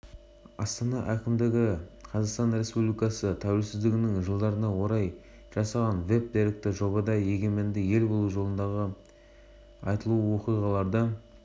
ұстаздарға жобаны әзірлеу ерекшеліктері мен педагогикалық қызметте мультимедиялық форматты пайдалану мүмкіндігі туралы айтылмақ деп хабарлайды